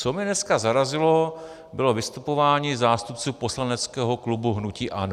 Co mě dneska zarazilo, bylo vystupování zástupců poslaneckého klubu hnutí ANO.